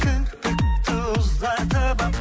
кірпікті ұзартып алып